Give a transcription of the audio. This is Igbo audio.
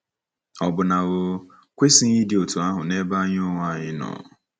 Ọ̀ bụ na o kwesịghị ịdị otú ahụ n’ebe anyị onwe anyị nọ?